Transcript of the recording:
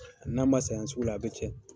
N'a ma san yan sugu la, a bɛ cɛn.